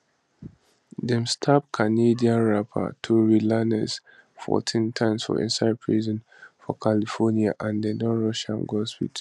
dem stab canadian rapper tory lanez 14 times for inside prison for california and dem don rush am go hospital